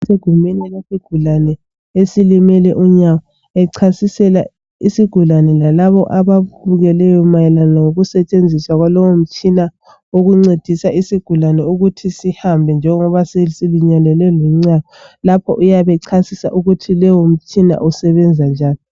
Egumbini lesigulane esilimele inyawo, echasisela isigulane lalabo ababukeleyo mayelana lokusetshenziswa kwalowo mtshina ukuncedisa isigulane ukuthi sihambe njengoba silimele unyawo. Lapho uyabe echasisa ukuthi lowo mtshina usebenza njani.